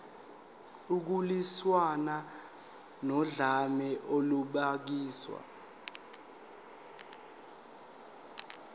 ukulwiswana nodlame olubhekiswe